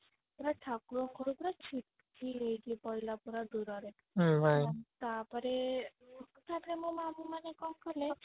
କହିଲା ଠାକୁରଙ୍କ ଘରୁ ପୁରା ଛିଟିକିକି ପଇଲା ପୁରା ଦୂରରେ ତାପରେ ଉଁ ମୋ ମାମୁଁ ମାନେ କଣ କଲେ